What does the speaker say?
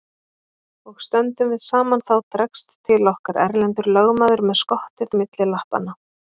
Og stöndum við saman þá dregst til okkar Erlendur lögmaður með skottið milli lappanna.